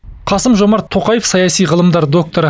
қасым жомарт тоқаев саяси ғылымдар докторы